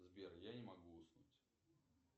сбер я не могу уснуть